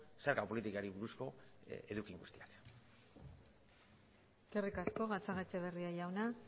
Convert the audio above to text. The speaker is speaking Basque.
zerga politikari buruzko eduki guztiak eskerrik asko gatzagaetxebarria jauna